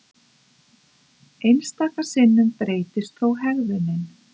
Einstaka sinnum breytist þó hegðunin.